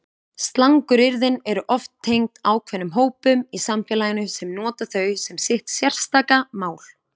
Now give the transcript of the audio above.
Slanguryrðin eru oft tengd ákveðnum hópum í samfélaginu sem nota þau sem sitt sérstaka mál.